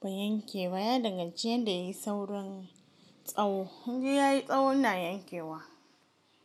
ba'a yanke ba, yadan gan ciya da yayi saurin tsaho, idan yayi tsahon ina yankewa.